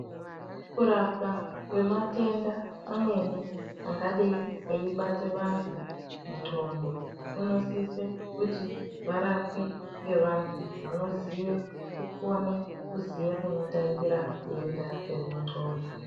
Kurapwa kwematenda amweni angadeyi eyibata vantu mundxondo, kunosise kuti varapwe ngevantu vanoziya kukone kuziya kunotangira denda remundxondo.